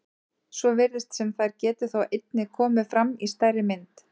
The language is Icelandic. Svo virðist sem þær geti þó einnig komið fram í stærri mynd.